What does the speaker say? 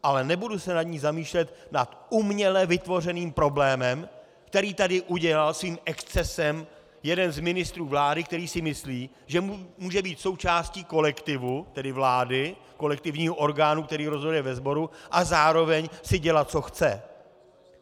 Ale nebudu se nad ní zamýšlet nad uměle vytvořeným problémem, který tady udělal svým excesem jeden z ministrů vlády, který si myslí, že může být součástí kolektivu, tedy vlády, kolektivního orgánu, který rozhoduje ve sboru, a zároveň si dělat, co chce.